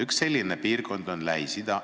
Üks selline piirkond on Lähis-Ida.